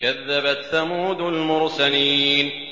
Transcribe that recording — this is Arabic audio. كَذَّبَتْ ثَمُودُ الْمُرْسَلِينَ